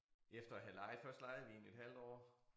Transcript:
Efter at have lejet først lejede vi én et halvt år